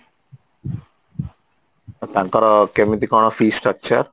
ଆଉ ତାଙ୍କର କେମିତି କଣ fees structure